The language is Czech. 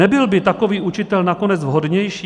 Nebyl by takový učitel nakonec vhodnější?